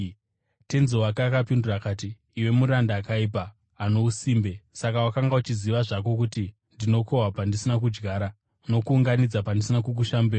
“Tenzi wake akapindura akati, ‘Iwe muranda akaipa, ano usimbe! Saka wakanga uchiziva zvako kuti ndinokohwa pandisina kudyara nokuunganidza pandisina kukusha mbeu?